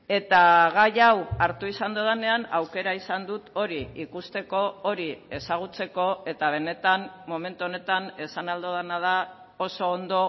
eta gai hau hartu izan dudanean aukera izan dut hori ikusteko hori ezagutzeko eta benetan momentu honetan esan ahal dudana da oso ondo